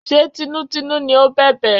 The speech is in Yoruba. Ṣé tinútinú ni ó bẹ̀bẹ̀?